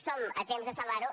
som a temps de salvar ho